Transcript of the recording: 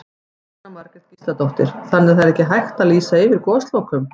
Jóhanna Margrét Gísladóttir: Þannig að það er ekki hægt að lýsa yfir goslokum?